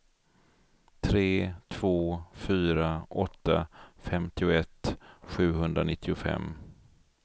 tre två fyra åtta femtioett sjuhundranittiofem